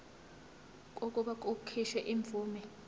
kokuba kukhishwe imvume